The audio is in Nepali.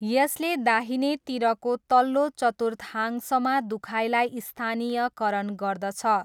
यसले दाहिनेतिरको तल्लो चतुर्थांशमा दुखाइलाई स्थानीयकरण गर्दछ।